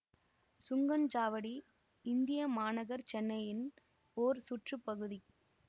சுங்கசாவடி இந்திய மாநகர் சென்னையின் ஓர் சுற்று பகுதி